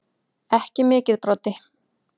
Ekki mikið Broddi.